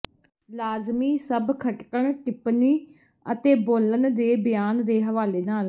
ਲਾਜ਼ਮੀ ਸਭ ਖਟਕਣ ਟਿੱਪਣੀ ਅਤੇ ਬੋਲਣ ਦੇ ਬਿਆਨ ਦੇ ਹਵਾਲੇ ਨਾਲ